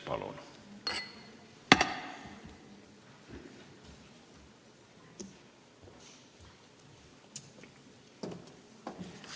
Palun!